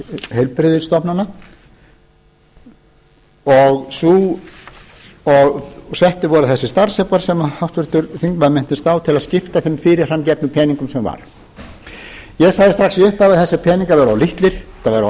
heilbrigðisstofnana og settir voru þessir starfsaukar sem háttvirtur þingmaður minnist á til að skipta þeim fyrirfarm gefnu peningum sem var ég sagði strax í upphafi að þessir peningar væru of litlir þetta væru